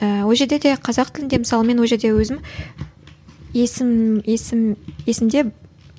ііі ол жерде де қазақ тілінде мысалы мен ол жерде өзім есім есім есімде